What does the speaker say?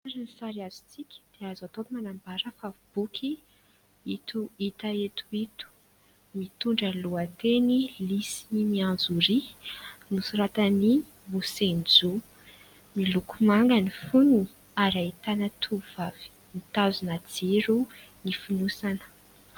Araka ny sary azontsika dia azo atao manambara fa boky ito hitantsika eto ito, mitondra ny lohateny : "lisy mianjoria" nosoratan'i Mose Njo, miloko manga ny fonony ary ahitana tovovavy mitazona jrio ny fonosana.